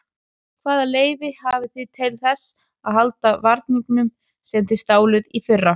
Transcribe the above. Hvaða leyfi hafið þið til þess að halda varningnum sem þið stáluð í fyrra?